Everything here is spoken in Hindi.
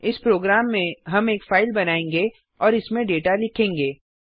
इस प्रोग्राम में हम एक फाइल बनायेंगे और इसमें डेटा लिखेंगे